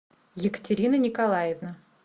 екатерина николаевна